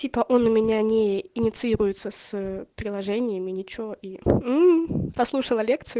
типа он у меня не инициируется с приложениями ничего и послушала лекцию